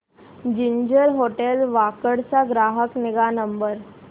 ginger hotel Wakad चा ग्राहक निगा नंबर